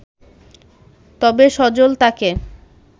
তবে সজল তাকে